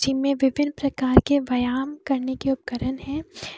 इनमें विभिन्न प्रकार के व्यायाम करने के उपकरण हैं।